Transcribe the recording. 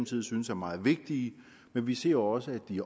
synes er meget vigtige men vi ser også at de